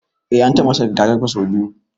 Eh an taba masa rigakafi sau biyu.